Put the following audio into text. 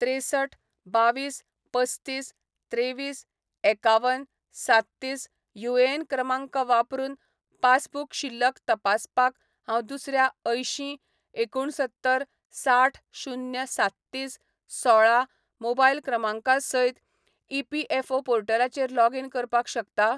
त्रेसठ बावीस पसतीस त्रेविस एकावन सात्तीस युएएन क्रमांक वापरून पासबुक शिल्लक तपासपाक हांव दुसऱ्या अंयशीं एकुणसत्तर साठ शुन्य सात्तीस सोळा मोबायल क्रमांका सयत ईपीएफओ पोर्टलाचेर लॉगीन करपाक शकता ?